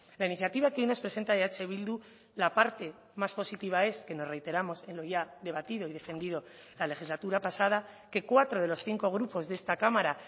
la iniciativa que hoy nos presenta eh bildu la parte más positiva es que nos reiteramos en lo ya debatido y defendido la legislatura pasada que cuatro de los cinco grupos de esta cámara